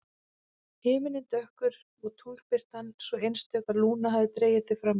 Himinninn dökkur og tunglbirtan svo einstök að Lúna hafði dregið þau fram úr.